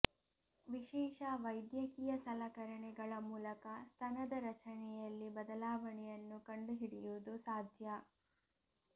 ವಿಶೇಷ ವೈದ್ಯಕೀಯ ಸಲಕರಣೆಗಳ ಮೂಲಕ ಸ್ತನದ ರಚನೆಯಲ್ಲಿ ಬದಲಾವಣೆಯನ್ನು ಕಂಡುಹಿಡಿಯುವುದು ಸಾಧ್ಯ